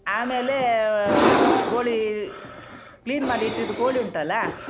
ಆಮೇಲೆ ಆ ಕೋಳೀ clean ಮಾಡಿಟ್ಟಿದ್ದ್ ಕೋಳಿ ಉಂಟಲ್ಲ?